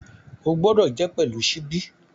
O gbọdọ jẹ pẹlu ṣíbí!